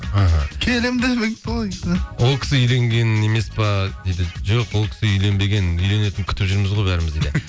іхі ол кісі үйленген емес пе дейді жоқ ол кісі үйленбеген үйленетінін күтіп жүрміз ғой бәріміз дейді